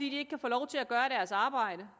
ikke kan få lov til at gøre deres arbejde